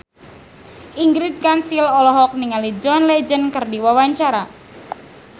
Ingrid Kansil olohok ningali John Legend keur diwawancara